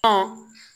Ɔ